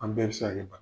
An bɛɛ bɛ se ka kɛ ba